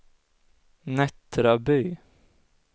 Nättraby